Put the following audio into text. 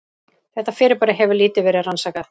Þetta fyrirbæri hefur lítið verið rannsakað.